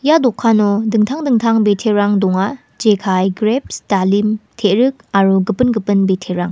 ia dokano dingtang dingtang biterang donga jekai greps dalim terik aro gipin gipin biterang.